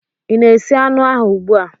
Ị na-esi anụ ahụ ugbu a?